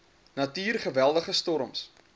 natuur geweldige storms